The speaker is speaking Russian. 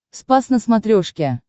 спас на смотрешке